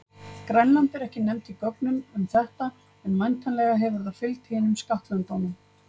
Grænland er ekki nefnt í gögnum um þetta, en væntanlega hefur það fylgt hinum skattlöndunum.